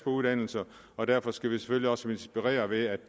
uddannelse og derfor skal vi selvfølgelig også inspirere ved at